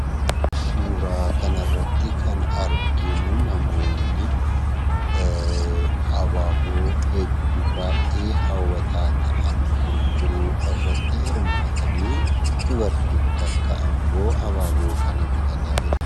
Suuraa kanarrattii kan arginuu namoonni abaaboo hedduu baay'ee hawwataa ta'an gurguruu irratti hirmaatanii dubartiin takka ammoo abaaboo kana bitataa jirti.